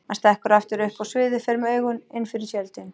Hann stekkur aftur upp á sviðið, fer með augun innfyrir tjöldin.